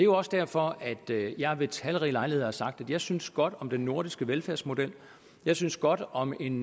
også derfor jeg ved talrige lejligheder har sagt at jeg synes godt om den nordiske velfærdsmodel jeg synes godt om en